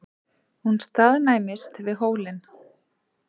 Hún staðnæmist við hólinn.